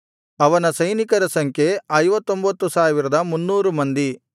ಅವನ ಸೈನಿಕರ ಸಂಖ್ಯೆ 59300 ಮಂದಿ